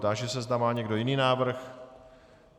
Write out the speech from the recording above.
Táži se, zda má někdo jiný návrh.